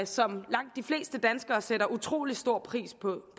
som langt de fleste danskere sætter utrolig stor pris på